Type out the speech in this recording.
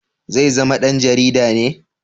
Zai zama dan jarida ne?